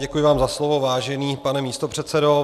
Děkuji vám za slovo, vážený pane místopředsedo.